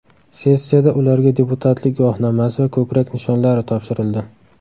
Sessiyada ularga deputatlik guvohnomasi va ko‘krak nishonlari topshirildi.